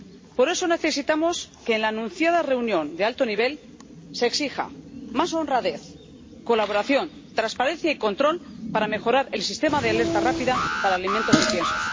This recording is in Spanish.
Por eso necesitamos que, en la anunciada reunión de alto nivel, se exija más honradez, colaboración, transparencia y control para mejorar el sistema de alerta rápida para alimentos y piensos.